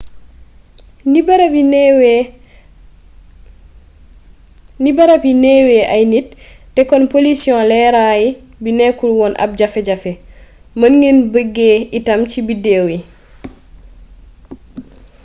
ni barab yi neewee ay nit te kon polisiyon leeray bi nekkul woon ab jafe-jafe mën ngeen beggee itam ci biddeew yi